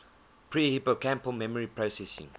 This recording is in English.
pre hippocampal memory processing